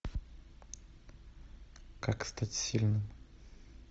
как стать сильным